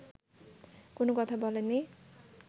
কোনো কথা বলেননি